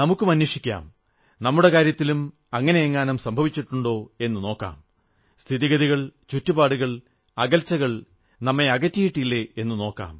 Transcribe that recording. നമുക്കും അന്വേഷിക്കാം നമ്മുടെ കാര്യത്തിലും അങ്ങനെയെങ്ങാനും സംഭവിച്ചിട്ടുണ്ടോ എന്ന് നോക്കാം സ്ഥിതിഗതികൾ ചുറ്റുപാടുകൾ അകൽച്ചകൾ നമ്മെ അകറ്റിയിട്ടില്ലേ എന്നു നോക്കാം